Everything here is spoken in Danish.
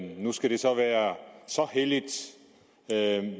nu skal det så være så helligt